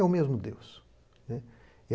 É o mesmo Deus, né.